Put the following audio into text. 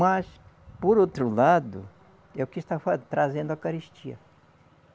Mas, por outro lado, é o que estava trazendo a caristia.